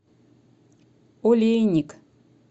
олейник